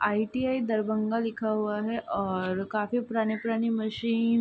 ITI Darbhanga लिखा हुआ है और काफी पुरानी-पुरानी मशीन --